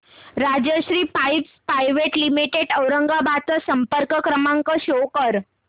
Rajshri pipes private limited Aurangabad चा संपर्क क्रमांक शो कर